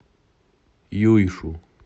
юйшу